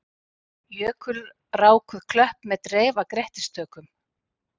Jökulrákuð klöpp með dreif af grettistökum.